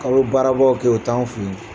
A ye baarabaw kɛ o t' an fɛ yen.